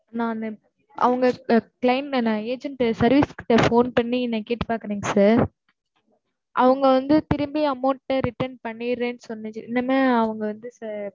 நானு, அவங்க claim வேணும், agent service கிட்ட phone பண்ணி, என்னை கேட்டுப் பார்க்கறீங்க sir அவங்க வந்து, திரும்பி amount அ, return பண்ணிடுறேன்னு, சொன்னது.